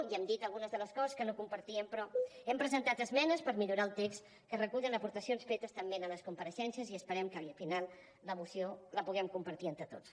ja hem dit algunes de les coses que no compartíem però hem presentat esmenes per millorar el text que recullen aportacions fetes també en les compareixences i esperem que al final la moció la puguem compartir entre tots